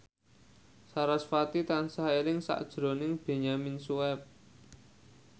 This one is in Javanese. sarasvati tansah eling sakjroning Benyamin Sueb